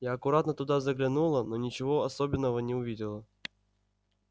я аккуратно туда заглянула но ничего особенного не увидела